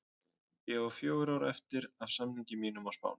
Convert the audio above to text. Ég á fjögur ár eftir af samningi mínum á Spáni.